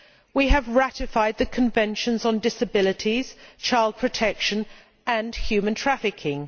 We have ratified the conventions on disabilities, child protection and human trafficking.